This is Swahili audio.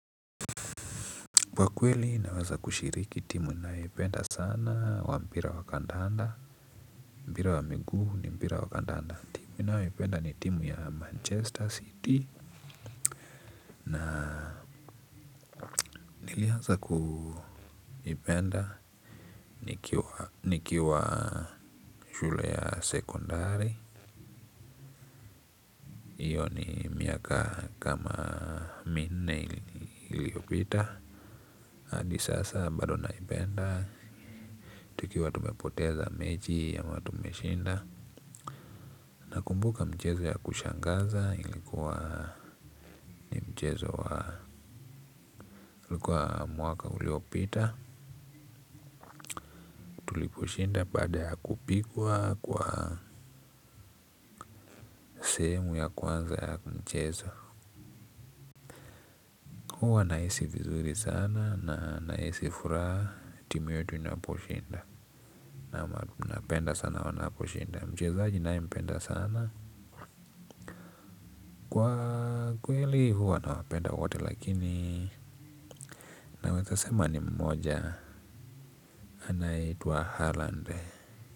Kwa kweli naweza kushiriki timu ninayoipenda sana wa mpira wa kandanda, mpira wa miguu ni mpira wa kandanda. Timu ninayopenda ni timu ya Manchester City. Na nilianza kuipenda nikiwa shule ya sekondari hiyo ni miaka kama minne iliyopita. Hadi sasa bado naipenda. Tukiwa tumepoteza mechi ama tumeshinda. Nakumbuka mchezo ya kushangaza ilikuwa ni mchezo wa ilikuwa mwaka uliopita. Tuliposhinda bada ya kupigwa kwa sehemu ya kwanza ya mchezo. Huwa nahisi vizuri sana na nahisi furaha timu yetu inaposhinda. Naam napenda sana wanaposhinda. Mchezaji ninayempenda sana kwa kweli huwa nawapenda wote lakini nawezasema ni mmoja. Anaitwa Haaland.